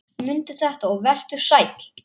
Mundu þetta og vertu sæll!